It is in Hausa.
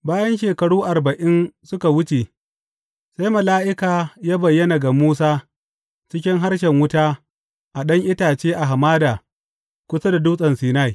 Bayan shekaru arba’in suka wuce, sai mala’ika ya bayyana ga Musa cikin harshen wuta a ɗan itace a hamada kusa da Dutsen Sinai.